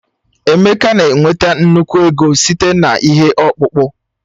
Emeka na-enweta nnukwu ego site na ihe ọkpụkpụ.